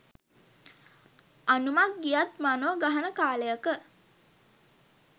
"අනුමක් ගියත් මනො ගහන" කාලයක